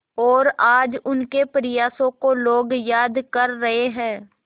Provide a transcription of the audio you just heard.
और आज उनके प्रयासों को लोग याद कर रहे हैं